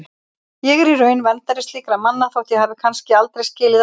Ég er í raun verndari slíkra manna þótt ég hafi kannski aldrei skilið það sjálf.